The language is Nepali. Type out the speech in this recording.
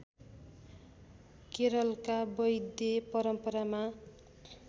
केरलका वैद्य परम्परामा